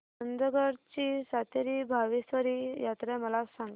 चंदगड ची सातेरी भावेश्वरी यात्रा मला सांग